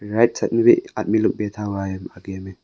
Right side में भी आदमी लोग बैठा ।